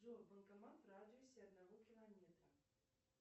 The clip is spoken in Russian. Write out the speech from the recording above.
джой банкомат в радиусе одного километра